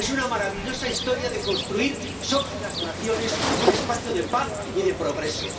Es una maravillosa historia la de construir, sobre las naciones, un espacio de paz y de progreso.